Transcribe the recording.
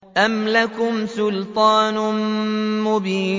أَمْ لَكُمْ سُلْطَانٌ مُّبِينٌ